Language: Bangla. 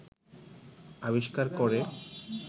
আবিষ্কার করে